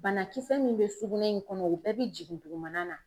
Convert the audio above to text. Banakisɛ min bɛ sugunɛ in kɔnɔ o bɛɛ bɛ jigin dugumana na.